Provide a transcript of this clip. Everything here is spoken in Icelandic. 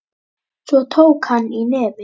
Svo tók hann í nefið.